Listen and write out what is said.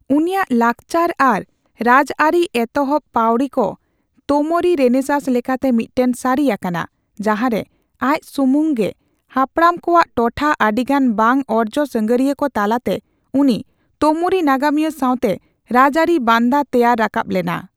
ᱩᱱᱤᱭᱟᱜ ᱞᱟᱠᱪᱟᱨ ᱟᱨ ᱨᱟᱡᱜᱟᱨᱤ ᱮᱛᱚᱦᱚᱵᱯᱟᱣᱲᱤ ᱠᱚ ᱛᱳᱹᱢᱚᱨᱤ ᱨᱮᱱᱮᱥᱟᱥ ᱞᱮᱠᱟᱛᱮ ᱢᱤᱫᱴᱟᱝ ᱥᱟᱨᱤ ᱟᱠᱟᱱᱟ, ᱡᱟᱦᱟᱨᱮ ᱟᱡ ᱥᱩᱢᱩᱱ ᱜᱮ ᱦᱟᱯᱲᱟᱢ ᱠᱚᱣᱟᱜ ᱴᱚᱴᱷᱟ ᱟᱰᱤᱜᱟᱱ ᱵᱟᱝ ᱚᱨᱡᱚ ᱥᱟᱜᱟᱨᱤᱭᱟᱹ ᱠᱚ ᱛᱟᱞᱟᱛᱮ ᱩᱱᱤ ᱛᱳᱢᱩᱨᱤ ᱱᱟᱜᱟᱢᱤᱭᱟᱹ ᱥᱟᱣᱛᱮ ᱨᱟᱡᱽ ᱟᱨᱤ ᱵᱟᱱᱫᱟ ᱛᱮᱭᱟᱨ ᱨᱟᱠᱟᱵ ᱞᱮᱱᱟ ᱾